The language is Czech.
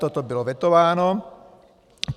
Toto bylo vetováno.